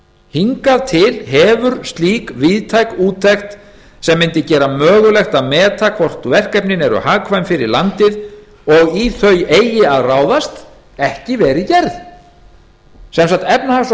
hingað til hefur slík víðtæk úttekt sem mundi gera mögulegt að meta að meta hvort verkefnin eru hagkvæm fyrir landið og í þau eigi að ráðast ekki verið gerð sem sagt efnahags og